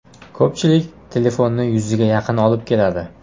Ko‘pchilik telefonni yuziga yaqin olib keladi.